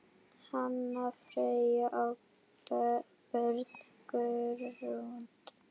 Hanna, Freyr og börn, Grund.